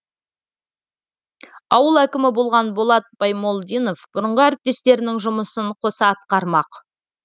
ауыл әкімі болған болат баймолдинов бұрынғы әріптестерінің жұмысын қоса атқармақ